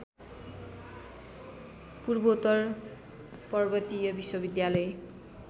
पूर्वोत्तर पर्वतीय विश्वविद्यालय